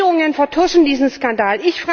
Und Regierungen vertuschen diesen Skandal!